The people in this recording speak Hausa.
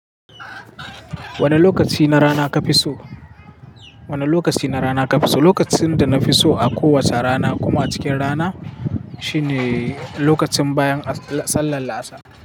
Wane lokaci na rana ka fi so? Wane lokaci na rana ka fi so? Lokacin da na fi so a kowace rana kuma a cikin rana shine lokacin bayan sallar la'asa.